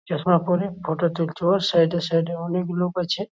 চশমা পরে ফটো তুলছে ও সাইড -এ সাইড -এ অনেক লোক আছে।